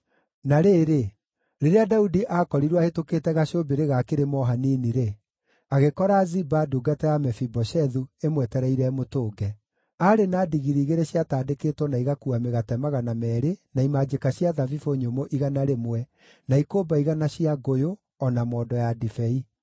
Na rĩrĩ, Daudi aakorirwo ahĩtũkĩte gacũmbĩrĩ ga kĩrĩma o hanini-rĩ, agĩkora Ziba, ndungata ya Mefiboshethu, ĩmwetereire ĩmũtũnge. Aarĩ na ndigiri igĩrĩ ciatandĩkĩtwo na igakuua mĩgate magana meerĩ na imanjĩka cia thabibũ nyũmũ igana rĩmwe, na ikũmba igana cia ngũyũ, o na mondo ya ndibei.